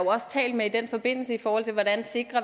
også talt med i den forbindelse i forhold til hvordan